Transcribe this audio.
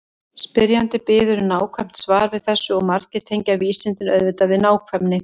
Spyrjandi biður um nákvæmt svar við þessu og margir tengja vísindin auðvitað við nákvæmni.